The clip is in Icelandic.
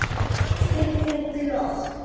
Stundum glott.